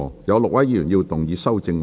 有6位議員要動議修正案。